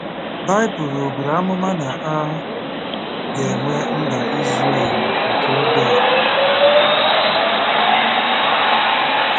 Baịbụl ọ̀ buru amụma na a ga-enwe Mba Izrel nke oge a?